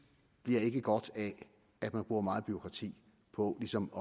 ikke bliver godt af at man bruger meget bureaukrati på ligesom